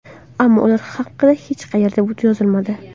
Ammo ular haqida hech qayerda yozilmadi.